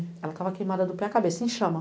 Ela estava queimada do pé à cabeça, em chama.